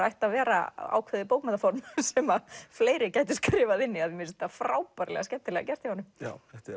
ætti að vera ákveðið bókmenntaform sem fleiri gætu skrifað inn í af því mér finnst þetta frábærlega skemmtilega gert já þetta er